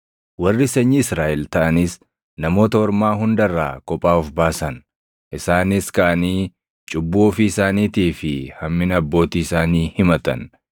Warri sanyii Israaʼel taʼanis namoota ormaa hunda irraa kophaa of baasan. Isaanis kaʼanii cubbuu ofii isaaniitii fi hammina abbootii isaanii himatan.